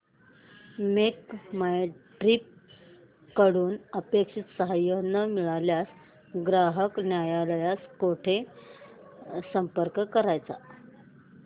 make My Trip कडून अपेक्षित सहाय्य न मिळाल्यास ग्राहक न्यायालयास कुठे संपर्क करायचा